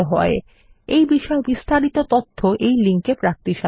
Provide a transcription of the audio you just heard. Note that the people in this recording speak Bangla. আমি অন্তরা এই টিউটোরিয়ালটি অনুবাদ এবং রেকর্ড করেছি